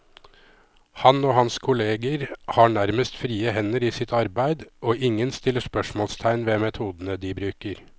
Han og hans kolleger har nærmest frie hender i sitt arbeid, og ingen stiller spørsmålstegn ved metodene de bruker.